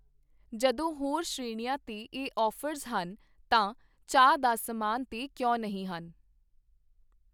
ਜਦੋਂ ਹੋਰ ਸ਼੍ਰੇਣੀਆਂ ਤੇ ਇਹ ਆਫ਼ਰਜ਼ ਹਨ ਤਾਂ ਚਾਹ ਦਾ ਸਮਾਨ ਤੇ ਕਿਉਂ ਨਹੀਂ ਹਨ?